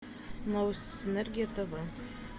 новости синергия тв